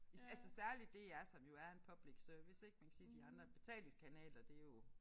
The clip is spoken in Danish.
Altså særligt DR som jo er en public service ik man kan sige de andre betalingskanaler det jo